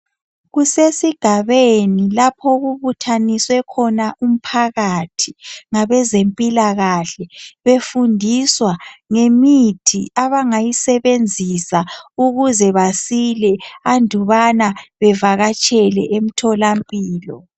Kusesigabeni lapho okubuthaniswe khona umphakathi ngabezempilakahle. Befundiswa ngemithi abangayisebenzisa ukuze besile andubana bevakatshele emtholampilo.